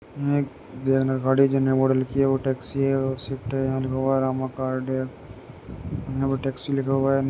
गाड़ी जे नए मॉडल की है। वो टैक्सी है और शिफ्ट है। है। यहाँ पर टैक्सी लिखा हुआ है।